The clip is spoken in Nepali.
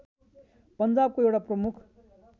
पन्जाबको एउटा प्रमुख